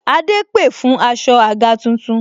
Adé pè fún aṣọ àga tuntun